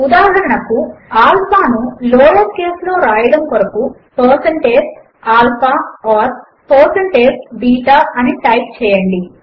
ఉదాహరణకు ఆల్ఫా ను lower case లో వ్రాయడము కొరకు160alpha or160beta అని టైప్ చేయండి